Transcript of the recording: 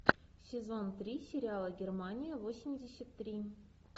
сезон три сериала германия восемьдесят три